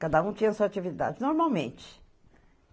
Cada um tinha a sua atividade, normalmente.